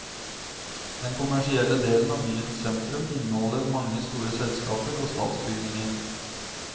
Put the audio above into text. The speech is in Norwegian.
Den kommersielle delen av byens sentrum inneholder mange store selskaper og statsbygninger.